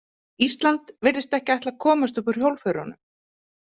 Ísland virðist ekki ætla að komast upp úr hjólförunum.